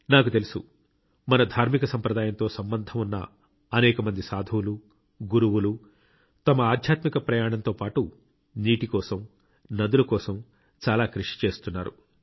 నాకు తెలుసు మన ధార్మిక సంప్రదాయంతో సంబంధం ఉన్న అనేక మంది సాధువులు గురువులు తమ ఆధ్యాత్మిక ప్రయాణంతో పాటు నీటి కోసం నదుల కోసం చాలా కృషి చేస్తున్నారు